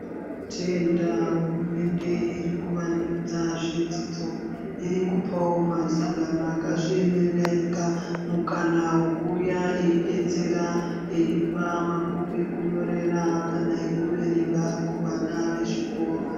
Tinotenda hurumende irikuvandudza zvidzidzo , irikupawo masangano akazviemerera ega mukana wekuuya eidetsera eipa mabhuku ekunyorera kana ekuverenga kuvana vezvikoro .